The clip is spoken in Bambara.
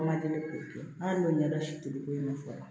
An ma deli k'o kɛ an y'o ɲɛdɔn si toli ko in fɔ